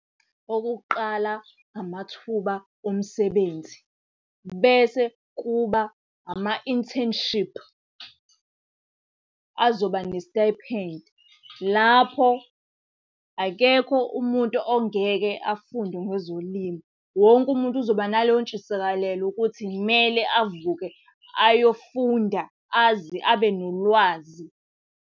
Okokuqala amathuba omsebenzi. Bese kuba ama-internship, azoba ne-stipend. Lapho akekho umuntu ongeke afunde ngezolimo. Wonke umuntu uzoba naleyo ntshisakalelo ukuthi kumele avuke ayofunda aze abe nolwazi.